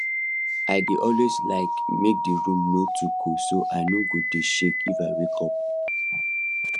i dey always like make the room no too cold so i no go dey shake if i wake up